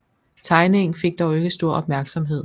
Tegningen fik dog ikke stor opmærksomhed